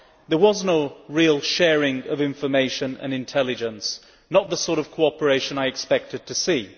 There was no real sharing of information and intelligence, not the sort of cooperation I expected to see.